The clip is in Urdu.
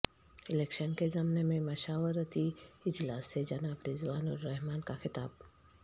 الیکشن کے ضمن میں مشاورتی اجلاس سے جناب رضوان الرحمن کا خطاب